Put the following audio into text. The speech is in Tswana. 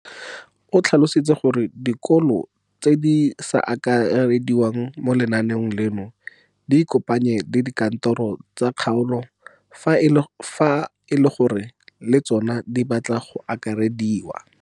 O tlhalositse gore dikolo tse di sa akarediwang mo lenaaneng leno di ikopanye le dikantoro tsa kgaolo fa e le gore le tsona di batla go akarediwa.